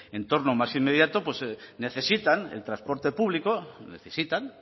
entorno más inmediato pues necesitan el transporte público necesitan